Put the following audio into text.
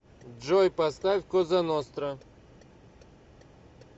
джой поставь коза ностра